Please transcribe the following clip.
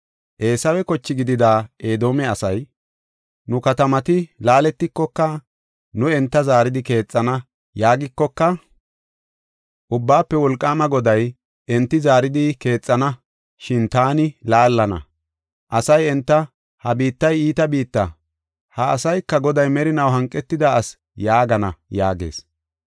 Eesawe koche gidida Edoome asay, “Nu katamati laaletikoka, nu enta zaaridi keexana” yaagikoka, Ubbaafe Wolqaama Goday, “Enti zaaridi keexana, shin taani laallana. Asay enta, ‘Ha biittay iita biitta; ha asayka Goday merinaw hanqetida ase’ yaagana” yaagees.